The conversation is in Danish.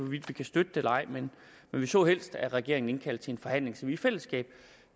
vi kan støtte det eller ej men vi så helst at regeringen indkaldte til en forhandling så vi i fællesskab